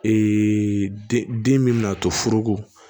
den min bin'a to foroko